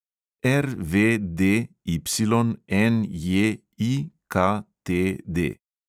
RVDYNJIKTD